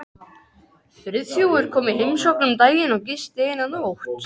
Friðþjófur kom í heimsókn um daginn og gisti eina nótt.